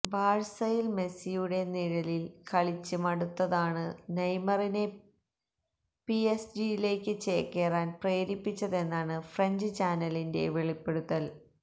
ബാഴ്സയില് മെസിയുടെ നിഴലില് കളിച്ച് മടുത്തതാണ് നെയ്മറിനെ പിഎസ്ജിയിലേക്ക് ചേക്കേറാന് പ്രേരിപ്പിച്ചതെന്നാണ് ഫ്രഞ്ച് ചാനലിന്റെ വെളിപ്പെടുത്തല്